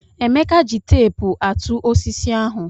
Emeka ji teepu àtụ́ osisi ahụ.